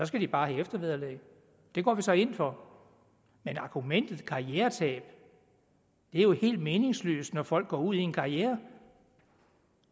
skal de bare have eftervederlag det går vi så ind for men argumentet karrieretab er jo helt meningsløst når folk går ud i en karriere